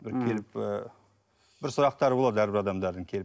бір келіп ы бір сұрақтары болады әрбір адамдардың келіп